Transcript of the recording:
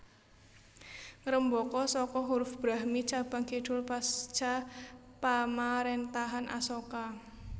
Ngrembaka saka huruf Brahmi cabang kidul pasca pamaréntahan Asoka